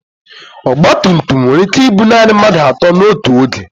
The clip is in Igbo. ọgba tum tum nwere ike ibu naanị mmadụ atọ n'otu oge